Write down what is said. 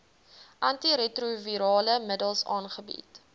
antiretrovirale middels aangebied